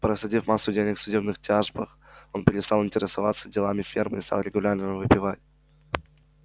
просадив массу денег в судебных тяжбах он перестал интересоваться делами фермы и стал регулярно выпивать